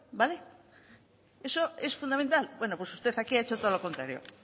eso es fundamental bueno pues usted aquí ha hecho todo lo contrario